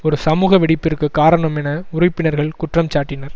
ஒரு சமூக வெடிப்பிற்குக் காரணம் என உறுப்பினர்கள் குற்றம் சாட்டினர்